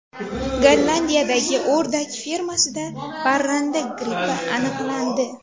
Gollandiyadagi o‘rdak fermasida parranda grippi aniqlandi.